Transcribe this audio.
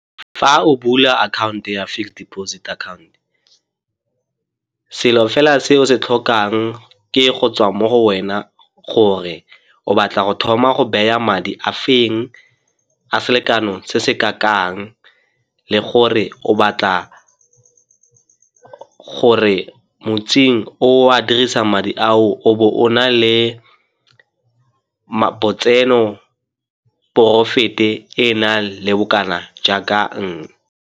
Fa o bula akhaonto ya fixed deposit account, selo fela se o se tlhokang ke e gotswa mo go wena gore o batla go thoma go baya madi a feng, a selekano se se ka kang le gore o batla gore o a dirisa madi ao o bo o na le lotseno profit-i e na le bokana jaaka .